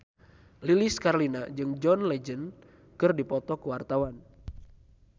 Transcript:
Lilis Karlina jeung John Legend keur dipoto ku wartawan